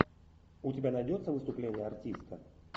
у тебя найдется выступление артиста